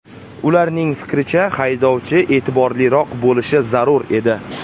Ularning fikricha, haydovchi e’tiborliroq bo‘lishi zarur edi.